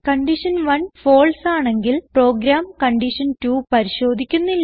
condition 1 false ആണെങ്കിൽ program condition 2 പരിശോധിക്കുന്നില്ല